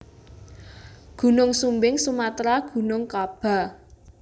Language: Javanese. Gunung Sumbing Sumatra Gunung Kaba